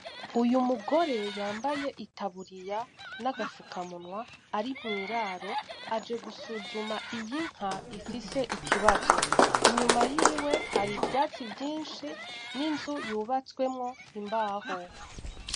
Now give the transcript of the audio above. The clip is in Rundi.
Uyu mugore yambaye itaburiya n’agafuka munwa ari mw’iraro aje gusuzuma iyi nka ifise ikibazo. Inyuma yiwe hari ivyatsi vyinshi n’inzu yubatswemwo imbaho.